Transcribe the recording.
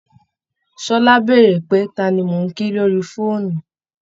Ṣọlá bèèrè pé ta ni mò ń kí lorí fóònù